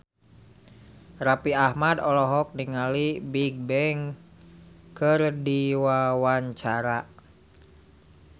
Raffi Ahmad olohok ningali Bigbang keur diwawancara